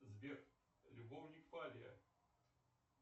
сбер любовник фабиа